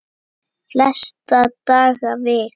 Flesta daga vik